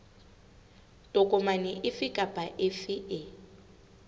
tokomane efe kapa efe e